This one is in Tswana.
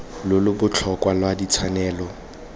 lo lo botlhokwa lwa ditshwanelo